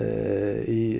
í